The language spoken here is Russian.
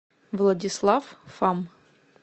владислав фам